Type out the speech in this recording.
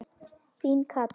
Þín Katrín.